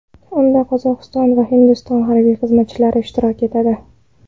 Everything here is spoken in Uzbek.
Unda Qozog‘iston va Hindiston harbiy xizmatchilari ishtirok etadi.